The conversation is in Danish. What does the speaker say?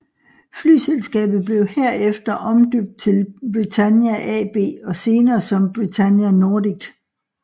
Flyselskabet blev her efter omdøbt til Britannia AB og senere som Britannia Nordic